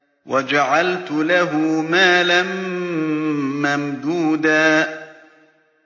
وَجَعَلْتُ لَهُ مَالًا مَّمْدُودًا